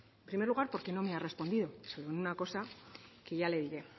en primer lugar porque no me ha respondido en una cosa que ya le diré